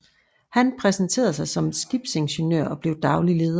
Han præsenterede sig som skibsingeniør og blev daglig leder